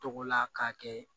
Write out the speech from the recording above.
Togola k'a kɛ